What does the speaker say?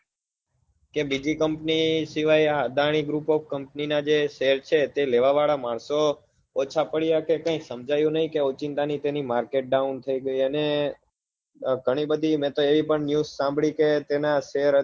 કે બીજી company સિવાય આ અદાની ગ્રુપ ઓફ કંપની ના જે share છે તે લેવાવાળા માણસો ઓછા પડ્યા કે કેઈ સમજાયું નઈ કે ઓચિંતાની તેની માર્કેટ down થઇ ગઈ અને ગણી બધી મેં તો એ પણ news સાંભળી છે કે તેના share અત્યારે